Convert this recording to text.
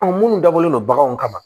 minnu dabɔlen don baganw kama